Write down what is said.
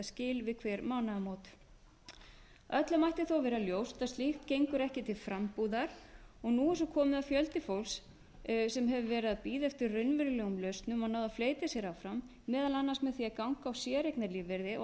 við hver mánaðamót öllum ætti þó að vera ljóst að slíkt gengur ekki til frambúðar og nú er svo komið að fjöldi fólks sem hefur verið að bíða eftir raunverulegum lausnum og náð að fleyta sér áfram meðal annars með því að ganga á séreignarlífeyri og